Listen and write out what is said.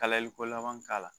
Kalayaliko lanban k'a ka